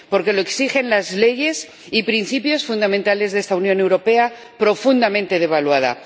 Porque lo exigen las leyes y los principios fundamentales de esta Unión Europea profundamente devaluada.